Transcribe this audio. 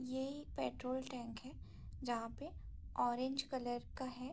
ये एक petrol tank है जहाँ पे ऑरेंज कलर का है।